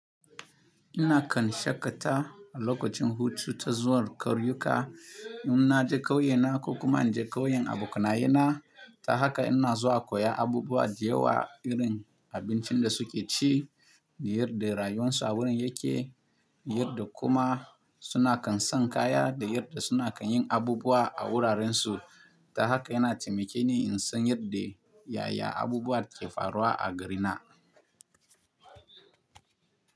Ina kan shaƙata a lokacin hutu ta zuwa ƙauyuka in na je ƙauyena ko kuma inje ƙauyen abokanayena. Ta haka ina zuwa koya abubuwa da yawa, irin abincin da suke ci, yadda rayuwarsu a wurin yake, yadda kuma suna kan san kaya da yadda suna kan yin abubuwa a wurarensu. Ta haka yana taimake ni in san yadda yaya abubuwa ke faruwa a garina.